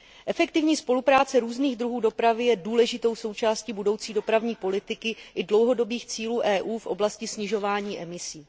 Efektivní spolupráce různých druhů dopravy je důležitou součástí budoucí dopravní politiky i dlouhodobých cílů EU v oblasti snižování emisí.